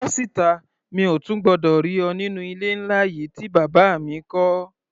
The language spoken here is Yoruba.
Bọ́ síta! Mi ò tún gbọdọ̀ rí ọ nínú ilé ńlá yìí tí bàbá mi kọ́.